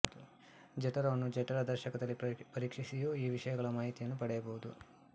ಜಠರವನ್ನು ಜಠರ ದರ್ಶಕದಲ್ಲಿ ಪರೀಕ್ಷಿಸಿಯೂ ಈ ವಿಷಯಗಳ ಮಾಹಿತಿ ಪಡೆಯಬಹುದು